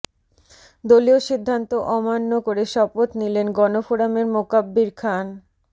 দলীয় সিদ্ধান্ত অমান্য করে শপথ নিলেন গণফোরামের মোকাব্বির খান